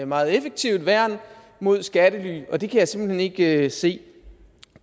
meget effektivt værn mod skattely og det kan jeg simpelt hen ikke se